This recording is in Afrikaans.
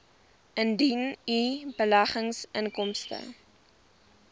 indien u beleggingsinkomste